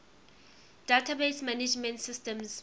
database management systems